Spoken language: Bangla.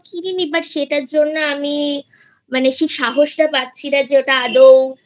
কিনিনি But সেটার জন্য আমি মানে সেই সাহস টা পাচ্ছিনা যে ওটা আদৌ